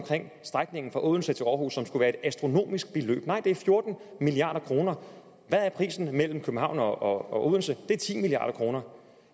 strækningen fra odense til aarhus hvor det skulle være et astronomisk beløb nej det er fjorten milliard kroner hvad er prisen på det mellem københavn og odense det er ti milliard kroner